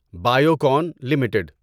Biocon limited